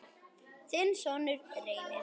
þinn sonur, Reynir.